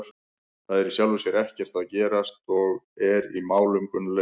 Það er í sjálfu sér ekkert að gerast eins og er í málum Gunnleifs.